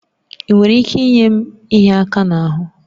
Ị nwere ike inye m ịhịa aka n'ahụ?